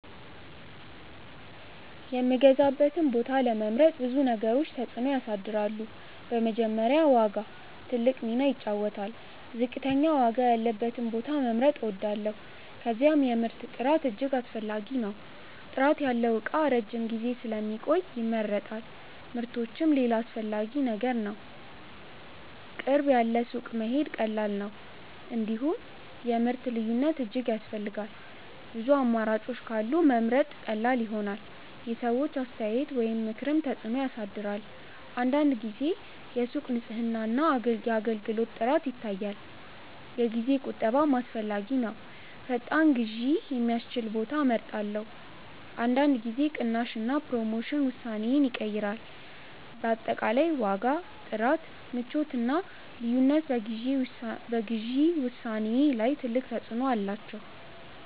የምገዛበትን ቦታ ለመምረጥ ብዙ ነገሮች ተጽዕኖ ያሳድራሉ። በመጀመሪያ ዋጋ ትልቅ ሚና ይጫወታል፤ ዝቅተኛ ዋጋ ያለበትን ቦታ መምረጥ እወዳለሁ። ከዚያም የምርት ጥራት እጅግ አስፈላጊ ነው። ጥራት ያለው እቃ ረጅም ጊዜ ስለሚቆይ ይመረጣል። ምቾትም ሌላ አስፈላጊ ነገር ነው፤ ቅርብ ያለ ሱቅ መሄድ ቀላል ነው። እንዲሁም የምርት ልዩነት እጅግ ያስፈልጋል፤ ብዙ አማራጮች ካሉ መምረጥ ቀላል ይሆናል። የሰዎች አስተያየት ወይም ምክርም ተጽዕኖ ያሳድራል። አንዳንድ ጊዜ የሱቅ ንጽህና እና አገልግሎት ጥራት ይታያል። የጊዜ ቁጠባም አስፈላጊ ነው፤ ፈጣን ግዢ የሚያስችል ቦታ እመርጣለሁ። አንዳንድ ጊዜ ቅናሽ እና ፕሮሞሽን ውሳኔዬን ይቀይራል። በአጠቃላይ ዋጋ፣ ጥራት፣ ምቾት እና ልዩነት በግዢ ውሳኔዬ ላይ ትልቅ ተጽዕኖ አላቸው።